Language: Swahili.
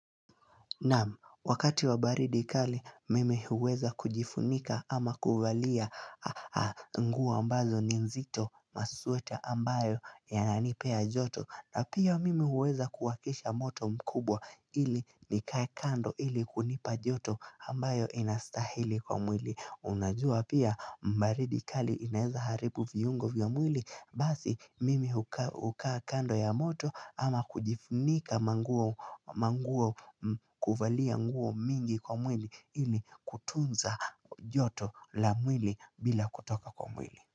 Nam, wakati wa baridi kali mimi huweza kujifunika ama kuvalia nguo ambazo ni nzito na sweta ambayo yananipea joto na pia mimi huweza kuwakisha moto mkubwa ili nikae kando ili kunipa joto ambayo inastahili kwa mwili Unajua pia mbaridi kali inaeza haribu viungo vya mwili Basi mimi hukaa kando ya moto ama kujifunika manguo kuvalia nguo mingi kwa mwili ili kutunza joto la mwili bila kutoka kwa mwili.